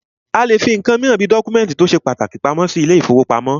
A lè fí nǹkan míràn bí dọ́kúmẹ̀ntì tó ṣe pàtàkì pamọ́ sí ilé ìfọwọ́pamo.